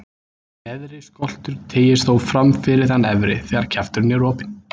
Neðri skoltur teygist þó fram fyrir þann efri, þegar kjafturinn er opinn.